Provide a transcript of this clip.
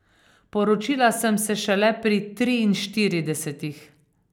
Poročila sem se šele pri triinštiridesetih.